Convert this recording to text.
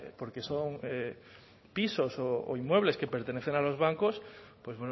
porque son pisos o inmuebles que pertenecen a los bancos pues